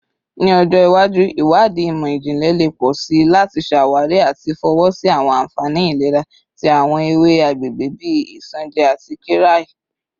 Ni ọjọ iwaju, iwadii imọ-jinlẹ le pọ si lati ṣawari ati fọwọsi awọn anfani ilera ti awọn ewe agbegbe bii isanje ati qirya